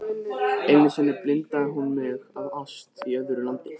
Einu sinni blindaði hún mig af ást í öðru landi.